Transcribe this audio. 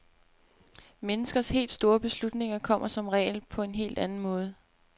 Menneskers helt store beslutninger kommer som regel på en helt anden måde.